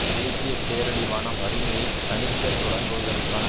தேசிய பேரழிவான வறுமையை தணிக்க தொடங்குவதற்கான